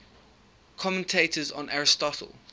commentators on aristotle